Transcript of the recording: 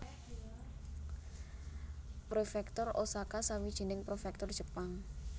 Prefektur Osaka sawijining prefektur Jepang